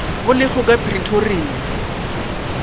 bo le go ka pretoria